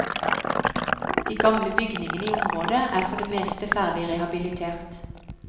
De gamle bygningene i området er for det meste ferdig rehabilitert.